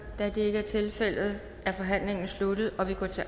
da det ikke er tilfældet er forhandlingen sluttet og vi går til